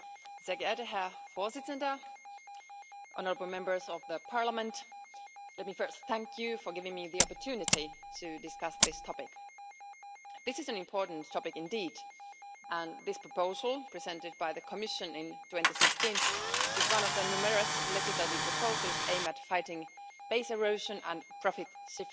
Mr President, honourable Members of Parliament, let me first thank you for giving me the opportunity to discuss this topic. This is an important topic indeed, and this proposal, presented by the Commission in 2016, is one of the numerous legislative proposals aimed at fighting base erosion and profit shifting.